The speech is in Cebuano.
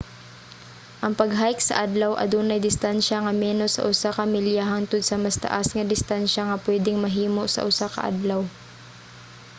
ang pag-hike sa adlaw adunay distansya nga menos sa usa ka milya hangtod sa mas taas nga distansya nga pwedeng mahimo sa usa ka adlaw